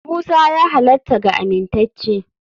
Musa ya halatta ga amintacce.